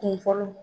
Kun fɔlɔ